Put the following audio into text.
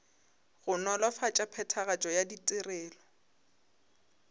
go nolofatša phethagatšo ya ditirelo